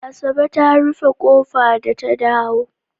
Asabe ta rufe ƙofa da ta dawo.